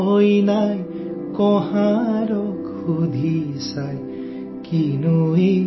মোনাত কি আছে কোৱা